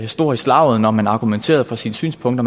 stor i slaget når man har argumenteret for sine synspunkter